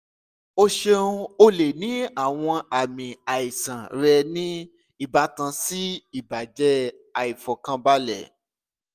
o ṣeun o le ni awọn aami aisan rẹ ni ibatan si ibajẹ aifọkanbalẹ